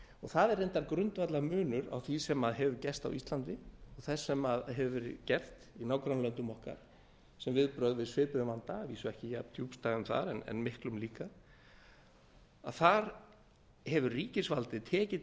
það er reyndar grundvallarmunur á því sem hefur gerst á íslandi og þess sem hefur verið gert í nágrannalöndum okkar sem viðbrögð við svipuðum vanda að vísu ekki jafndjúpstæðum þar en miklum líka þar hefur ríkisvaldið tekið